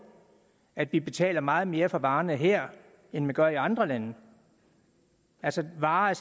at vi betaler meget mere for varerne her end man gør i andre lande altså varer er